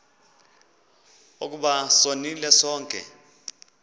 ukuba sonile sonke